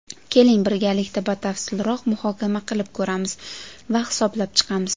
Keling, birgalikda batafsilroq muhokama qilib ko‘ramiz va hisoblab chiqamiz.